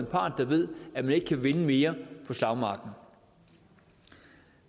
part der ved at man ikke kan vinde mere på slagmarken